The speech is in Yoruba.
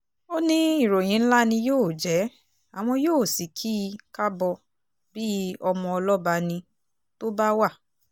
ó ní ìròyìn ńlá ni yóò jẹ́ àwọn yóò sì kì í kábọ bíi ọmọ ọlọ́ba ní tó bá wà